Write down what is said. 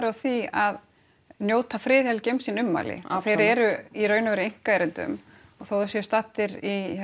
á því að njóta friðhelgi um sín ummæli þeir eru í raun og veru í einkaerindum og þótt þeir séu staddir